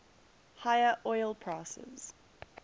higher oil prices